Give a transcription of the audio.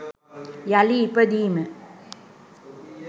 යළි ඉපදීම